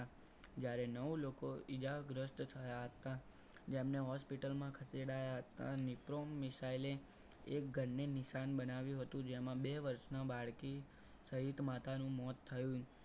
જ્યારે નવ લોકો ઇજાગ્રસ્ત થયા હતા. જેમને hospital માં ખસેડાયા હતા નિક્રોમ મિસાઈલ એ એક ઘરને નિશાન બનાવ્યું હતું જેમાં બે વર્ષના બાળકી સહિત માતાનો મોત થયું.